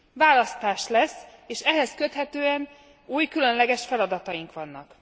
Választás lesz, és ehhez köthetően új, különleges feladataink vannak.